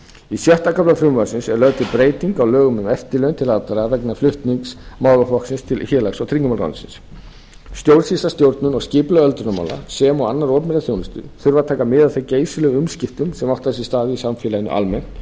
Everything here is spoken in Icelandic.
í sjötta kafla frumvarpsins er lögð til breyting á lögum um eftirlaun til allra vegna flutnings málaflokksins til félags og tryggingamálaráðuneytisins stjórnsýsla stjórnun og skipulag öldrunarmála sem og annarrar opinberrar þjónustu þurfa að taka mið af þeim geysilegu umskiptum sem átt hafa sér stað í samfélaginu almennt